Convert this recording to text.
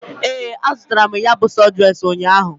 Ee, azụtara m ya bụ sọdụres ụnyaahụ.